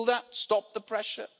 Will that stop the pressure?